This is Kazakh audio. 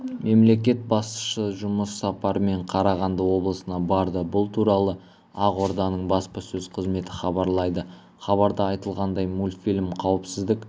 мемлекет басшысыжұмыс сапарымен қарағанды облысына барды бұл туралы ақорданың баспасөз қызметі хабарлайды хабарда айтылғандай мультфильм қауіпсіздік